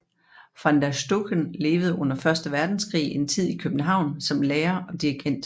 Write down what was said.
Van der Stucken levede under første verdenskrig en tid i København som lærer og dirigent